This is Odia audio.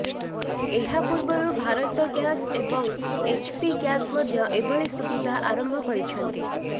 ଏହାପୂର୍ବରୁ ଭାରତ ଗ୍ୟାସ ଏବଂ ଏଚପି ଗ୍ୟାସ ମଧ୍ୟ ଏଭଳି ସୁବିଧା ଆରମ୍ଭ କରିଛନ୍ତି